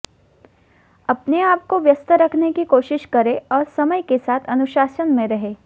अपने आप को व्यस्त रखने की कोशिश करें और समय के साथ अनुशासन में रहें